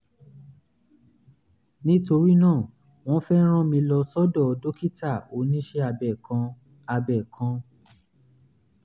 nítorí náà wọ́n fẹ́ rán mi lọ sọ́dọ̀ dókítà oníṣẹ́ abẹ kan abẹ kan